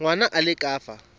ngwana a le ka fa